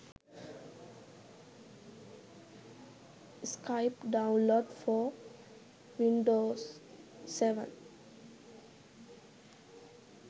skype download for windows 7